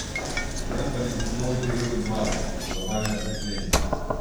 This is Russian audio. лента ледниковый период два глобальное потепление